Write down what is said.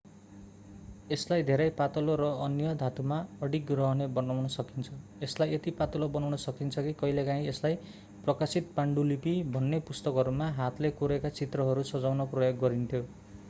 यसलाई धेरै पातलो र अन्य धातुमा अडिग रहने बनाउन सकिन्छ यसलाई यति पातलो बनाउन सकिन्छ कि कहिलेकाहीँ यसलाई प्रकाशित पाण्डुलिपि भन्ने पुस्तकहरूमा हातले कोरेका चित्रहरू सजाउन प्रयोग गरिन्थ्यो